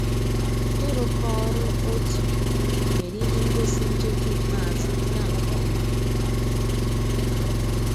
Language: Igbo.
ị́ rụ́kọ̀ ọ́rụ́ ótú mérè íhé ngósì njéké ikpéázụ́ gàà nkè ọ́má.